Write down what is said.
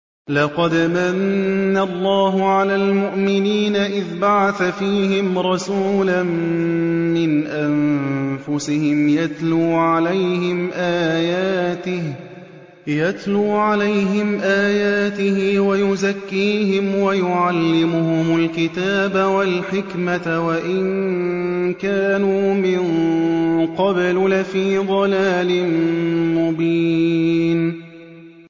لَقَدْ مَنَّ اللَّهُ عَلَى الْمُؤْمِنِينَ إِذْ بَعَثَ فِيهِمْ رَسُولًا مِّنْ أَنفُسِهِمْ يَتْلُو عَلَيْهِمْ آيَاتِهِ وَيُزَكِّيهِمْ وَيُعَلِّمُهُمُ الْكِتَابَ وَالْحِكْمَةَ وَإِن كَانُوا مِن قَبْلُ لَفِي ضَلَالٍ مُّبِينٍ